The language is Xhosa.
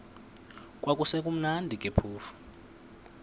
kwakusekumnandi ke phofu